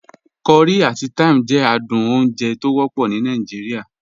Curry ati thyme jẹ àdùn ọ̀unjè tọ wọpọ ní Nàìjíríà.